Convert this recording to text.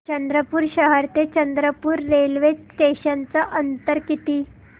चंद्रपूर शहर ते चंद्रपुर रेल्वे स्टेशनचं अंतर किती